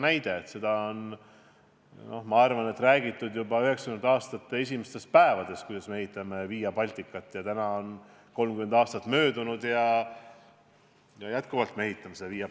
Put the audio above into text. Ma arvan, et juba 1990. aastate esimestest päevadest on räägitud, kuidas me ehitame Via Balticat, aga tänaseks on 30 aastat möödunud ja me endiselt ehitame seda.